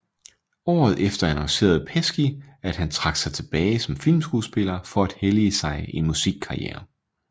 Året efter annoncerede Pesci at han trak sig tilbage som filmskuespiller for at hellige sig en musikkarriere